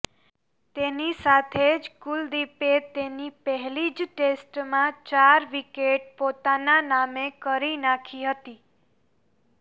તેની સાથે જ કુલદીપે તેની પહેલી જ ટેસ્ટમાં ચાર વિકેટ પોતાના નામે કરી નાંખી હતી